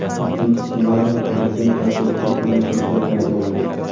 ikkinchi ssenariy prezident kortejiga hujum qilish rejasi bo‘lgan.